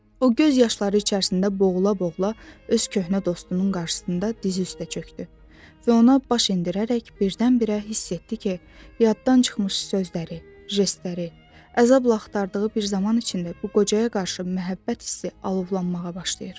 O göz yaşları içərisində boğula-boğula öz köhnə dostunun qarşısında diz üstə çöndü və ona baş endirərək birdən-birə hiss etdi ki, yaddan çıxmış sözləri, jestləri, əzabla axtardığı bir zaman içində bu qocaya qarşı məhəbbət hissi alovlanmağa başlayır.